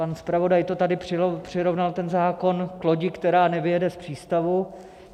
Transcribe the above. Pan zpravodaj tady přirovnal ten zákon k lodi, která nevyjede z přístavu.